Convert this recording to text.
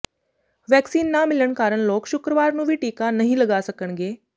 vaccine ਨਾ ਮਿਲਣ ਕਾਰਨ ਲੋਕ ਸ਼ੁੱਕਰਵਾਰ ਨੂੰ ਵੀ ਟੀਕਾ ਨਹੀਂ ਲਗਾ ਸਕਣਗੇ